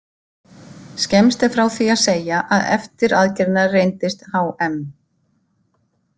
Skemmst er frá því að segja að eftir aðgerðina reyndist H.M.